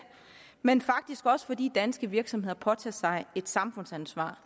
men faktisk også fordi danske virksomheder påtager sig et samfundsansvar